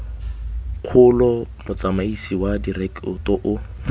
kgolo motsamaisi wa direkoto o